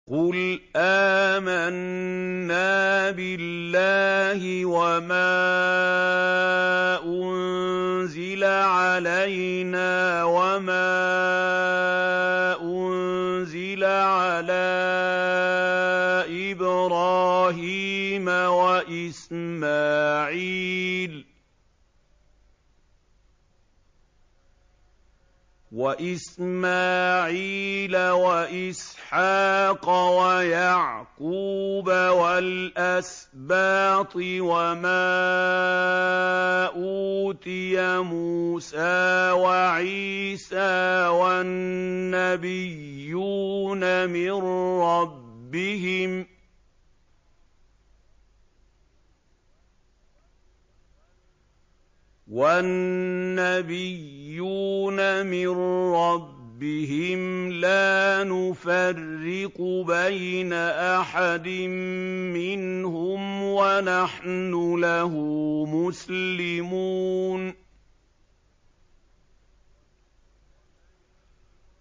قُلْ آمَنَّا بِاللَّهِ وَمَا أُنزِلَ عَلَيْنَا وَمَا أُنزِلَ عَلَىٰ إِبْرَاهِيمَ وَإِسْمَاعِيلَ وَإِسْحَاقَ وَيَعْقُوبَ وَالْأَسْبَاطِ وَمَا أُوتِيَ مُوسَىٰ وَعِيسَىٰ وَالنَّبِيُّونَ مِن رَّبِّهِمْ لَا نُفَرِّقُ بَيْنَ أَحَدٍ مِّنْهُمْ وَنَحْنُ لَهُ مُسْلِمُونَ